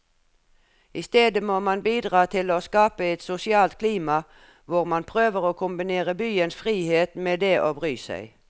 I stedet må man bidra til å skape et sosialt klima hvor man prøver å kombinere byens frihet med det å bry seg.